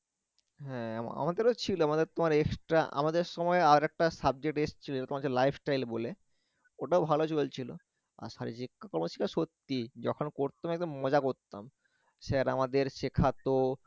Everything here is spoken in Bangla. হ্যাঁ আমাদের ও ছিল আমাদের তোমর extra আমাদের সময় আরেকটা subject এসছিল যেটা তোমার হচ্ছে life style বলে ওটাও ভালো চলছিল, শারীরিক-শিক্ষা ছিল সত্যি যখন পড়তাম একদম মজা করতাম স্যার আমাদের সেখাতো